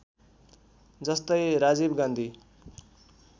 जस्तै राजीव गान्धी